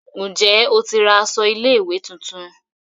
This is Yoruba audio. Njé o tí ra aṣọ ilé ìwé títún?